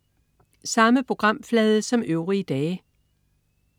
Samme programflade som øvrige dage